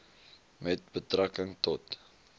met betrekking tot